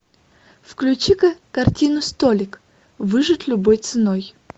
включи ка картину столик выжить любой ценой